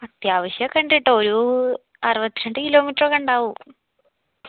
അത്യാവശ്യക്കെ ഇണ്ട് ട്ടോ ഒരു അറുവത്രണ്ട് kilometer ഒക്കെ ഇണ്ടാവും